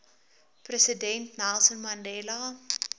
president nelson mandela